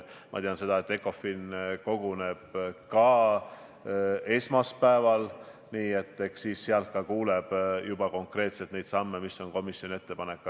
Ma tean seda, et Ecofin koguneb esmaspäeval, ja eks sealt ka kuuleb juba konkreetselt, millised sammud komisjon ette paneb.